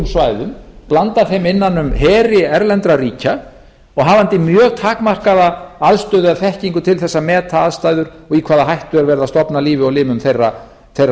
svæðum blanda þeim innan um heri erlendra ríkja og hafandi mjög takmarkaða aðstöðu eða þekkingu til þess að meta aðstæður og í hvaða hættu er verið að stofna lífi og limum þeirra ríkisborgara